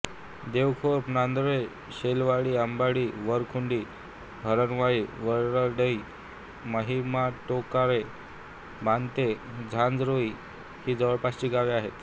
देवखोप नंडोरे शेलवाडी अंबाडी वरखुंटी हरणवाळी वडराई माहीमटोकराळे बांदते झांझरोळी ही जवळपासची गावे आहेत